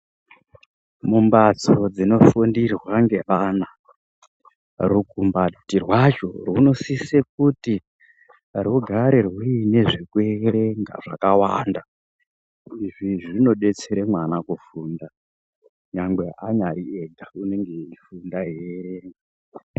Mumhatso dzinofundirwa ngeana rukumbati rwazvo runosise kuti rugare ruine zvekuverenga zvakawanda. Izvi zvinodetsera mwana kufunda nyangwe anyariega unofunda eierenga.